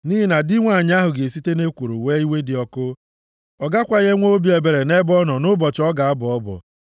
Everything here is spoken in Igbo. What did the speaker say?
Nʼihi na di nwanyị ahụ ga-esite nʼekworo wee iwe dị ọkụ; ọ gakwaghị enwe obi ebere nʼebe ọ nọ nʼụbọchị ọ ga-abọ ọbọ.